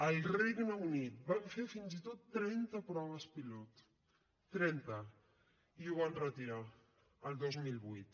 al regne unit van fer fins i tot trenta proves pilot trenta i ho van retirar el dos mil vuit